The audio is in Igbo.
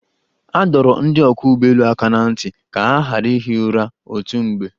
A dọrọ ndị ọkwọ́ ụgbọelu aka na ntị ka ha ghara ihi ura otu mgbe.